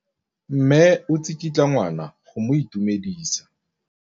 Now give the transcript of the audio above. Mme o tsikitla ngwana go mo itumedisa.